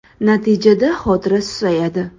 Natijada xotira susayadi.